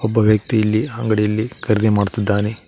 ಒಬ್ಬ ವ್ಯಕ್ತಿಯಲ್ಲಿ ಅಂಗಡಿಯಲ್ಲಿ ಖರೀದಿ ಮಾಡುತ್ತಿದ್ದಾನೆ.